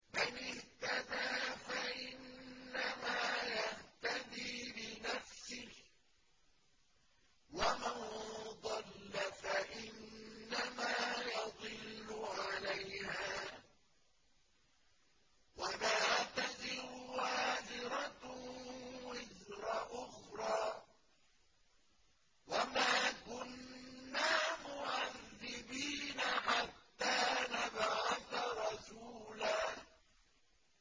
مَّنِ اهْتَدَىٰ فَإِنَّمَا يَهْتَدِي لِنَفْسِهِ ۖ وَمَن ضَلَّ فَإِنَّمَا يَضِلُّ عَلَيْهَا ۚ وَلَا تَزِرُ وَازِرَةٌ وِزْرَ أُخْرَىٰ ۗ وَمَا كُنَّا مُعَذِّبِينَ حَتَّىٰ نَبْعَثَ رَسُولًا